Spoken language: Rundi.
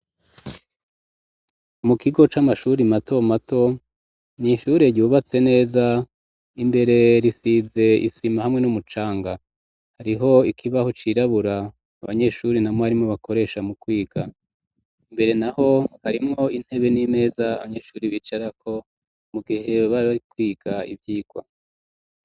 Mukigo c'amashure mato mato n'ishure ryubatse neza imbere risize isima hamwe n'umucanga, harimwo ikibaho cirabura abanyesure na mwigisha bakoresha mu kwiga imbere naho harimwo intebe n'imeza abanyeshure bicarako mugihe bari kwiga ivyigwa.